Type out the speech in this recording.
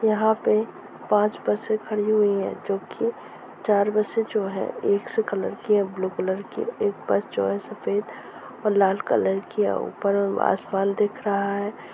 यहाँ पे पांच बसे खड़ी हुई है जो की चार बसे जो है एक से कलर की हैं ब्लू कलर की एक जो बस है सफ़ेद और लाल कलर की है ऊपर में आसमान दिख रहा है।